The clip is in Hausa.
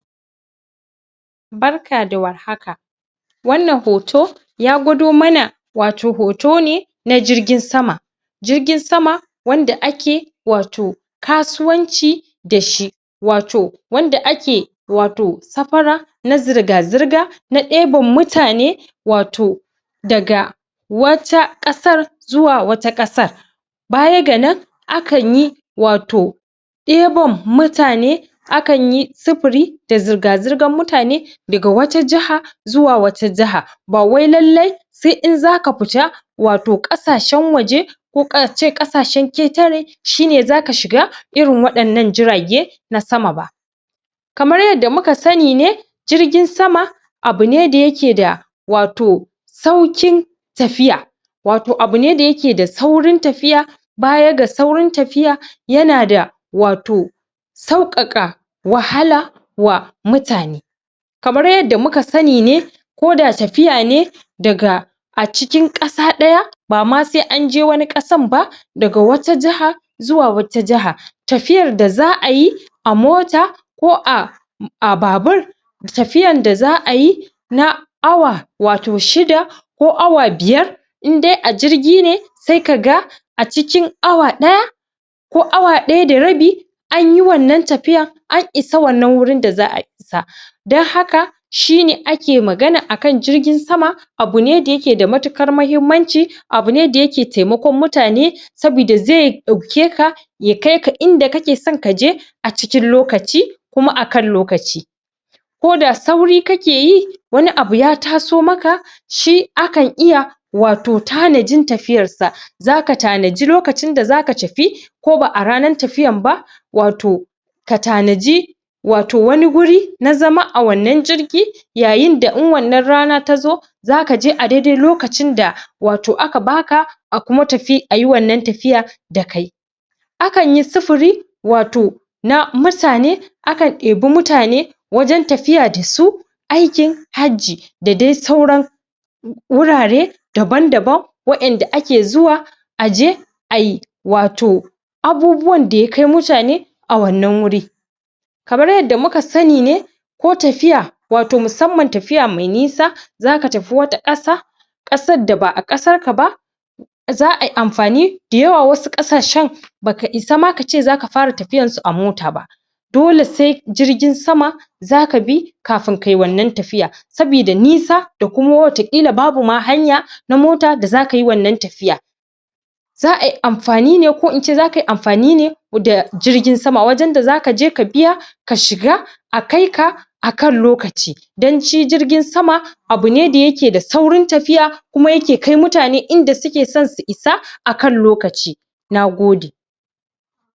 barka da war haka wannan hoto ya gudo mana wato hoto ne na jirgin sama jirgin sama anda ake wato kasuwanci dashi wato wanda ake wato safarar na zirga zirga na deban mutane wato daga wata kasar zuwa wata kasar baya ga nan a kan yi wato deban mutane akan yi sufuri da zirga ziran mutane daga wata jaha zuwa wata jaha bawai lalle sai in zaka fita wato kasashen waje ko kasashen ketare shine zaka shiga irin wa'yan nan jirage na sama ba kamar yadda muka sani ne jirgin sama abu ne da yake da wato saukin tafiya wato abu ne da yake da saurin tafiyi baya ga saurin tafiya yanada wato saukaka wahala wa mutane kamar yadda muka sani ne ko da tafiya ne daga a cikin kasa daya bama sai an je wani kasan ba daga wata jaha zuwa wata jaha tafiyar da za'a yi a mota ko a a babur tafyan da za'a yi na awa wato shida ko awa biyar in dai a jirgi ne sai kaga a cikin awa daya ko awa daya da rabi anyi wannan tafiyan an isa wannan gurin da za'a isa dan haka shine ake magana akan jirgin sama abu ne da yake da matikar mahimmanci abu ne da yake taimakon mutane sabida zai dauke ka ya kai ka inda kasan kaje a cikin lokaci kuma akan lokaci koda sauri kake yi wani abu ya taso maka shi akan iya wato tanajin tafiyar sa zaka tanaji lokaci da zaka tafi ko ba a ranar tafiyan ba wato ka tanaji wato wani wuri na zama a wanna jirgin yayin da in wannan rana ta zo zaka je a dai dai lakocin da wato aka baka a kuma tafi a yi wannan tafiya da kai akan yi sufuri wato na mutane kan deba mutane wajen tafiya dasu aikin hajji da dai sauran wurare daban daban wa 'yanda ake zuwa aje ayi wato abubuwan da yakai mutane a wannan wuri kamar yadda muka sani ne ko tafiya wato musamman tafiya mai nisa zaka tafi wata kasa kasar da ba'a kasar ka ba za ayi amfani da yawa wasu kasashen baka isa ma kace zaka fara tafiyan su a mota ba dole sai jirgin sama zaka bi kafin kai wannan tafiya sabida nisa da kuma wata kila babu ma hanya na mota da zka yi wannan tafiyan za'a yi amfani ne ko in ce zaka yi amfani ne da jirgin sama wajen da zaka je ka biya ka shiga a kai ka akan lokaci dan shi jirgin sama bu ne da yake da saurin tafiya kuma yake kai mutane inda suke so san su isa akan lokaci na gode